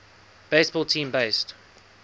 baseball team based